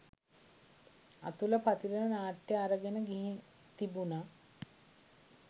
අතුල පතිරණ නාට්‍ය අරගෙන ගිහින් තිබුණ.